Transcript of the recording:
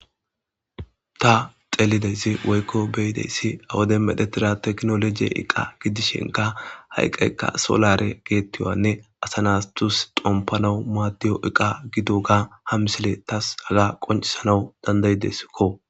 Ta xelide ize woykko be'ida izza ha wodiyan mexxetidaa tkinoloje ehidooge xompanawu maddiya iqqa gididooga ha misile tasi haga qonccisanawu dandayiis